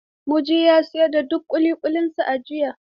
Muji ya siyar da duk ƙuliƙulinsa a jiya.